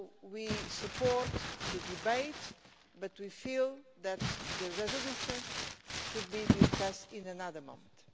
So we support the debate but we feel that the resolution should be discussed in another month.